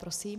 Prosím.